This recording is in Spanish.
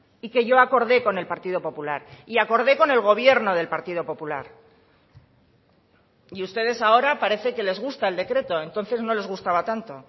y que yo acordé con el partido popular y acordé con el gobierno del partido popular y ustedes ahora parece que les gusta el decreto entonces no les gustaba tanto